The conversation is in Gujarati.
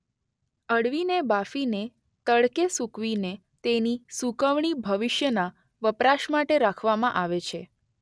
અળવીને બાફી ને તડકે સુકવી ને તેની સુકવણી ભવિષ્યના વપરાશ માટે રાખવામાં આવે છે.